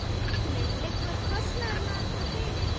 Heimir: Liggur kostnaðarmat fyrir?